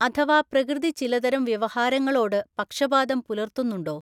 അഥവാ പ്രകൃതി ചിലതരം വ്യവഹാരങ്ങളോട് പക്ഷപാതം പുലർത്തുന്നുണ്ടോ?